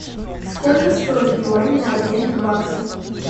сколько стоит юань на обмен к баксу